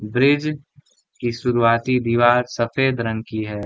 Bridge की शुरुवाती दीवार सफेद रंग की है ।